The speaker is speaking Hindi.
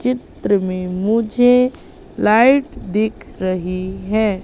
चित्र में मुझे लाइट दिख रही है।